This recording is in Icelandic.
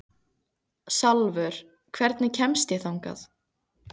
Salvör, hvernig kemst ég þangað?